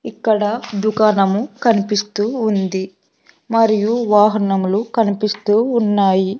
ఇక్కడ దుకాణము కనిపిస్తూ ఉంది మరియు వాహనములు కనిపిస్తూ ఉన్నాయి.